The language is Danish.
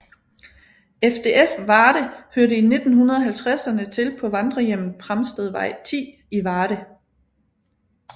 FDF Varde hørte i 1950erne til på Vandrerhjemmet Pramstedvej 10 i Varde